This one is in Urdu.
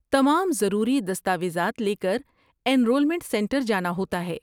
تمام ضروری دستاویزات لے کر انرولمنٹ سنٹر جانا ہوتا ہے۔